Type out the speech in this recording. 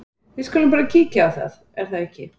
Við skulum bara kíkja á það, er það ekki?